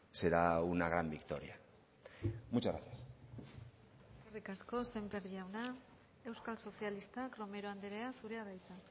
será una gran victoria muchas gracias eskerrik asko sémper jauna euskal sozialistak romero andrea zurea da hitza